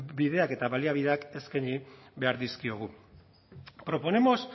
bideak eta baliabideak eskaini behar dizkiogu proponemos